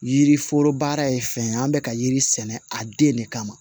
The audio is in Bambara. Yiriforo baara ye fɛn ye an bɛ ka yiri sɛnɛ a den de kama